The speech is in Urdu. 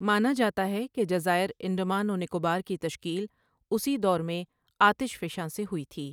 مانا جاتا ہے کہ جزائر انڈمان و نکوبار کی تشکیل اسی دور میں آتش فشاں سے ہوئی تھی۔